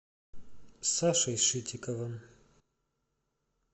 сашей шитиковым